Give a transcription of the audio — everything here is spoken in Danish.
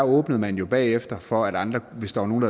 åbnede man jo bagefter for at andre hvis der var nogen